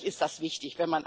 Natürlich ist das wichtig.